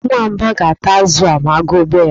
Nwamba ga-ata azụ a ma agụụ bia ya.